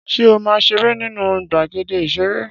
Ṣé ó ma seré nínú gbàgéde ìserè?